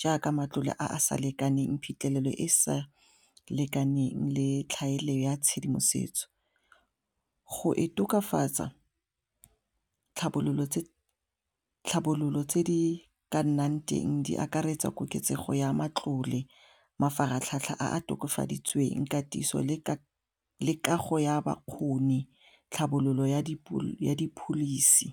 jaaka matlole a a sa lekaneng phitlhelelo e e sa lekaneng le tlhaelo ya tshedimosetso, go e tokafatsa tlhabololo tse di ka nnang teng di akaretsa koketsego ya matlole, mafaratlhatlha a tokafaditsweng, katiso le kago ya bakgoni tlhabololo ya di-policy.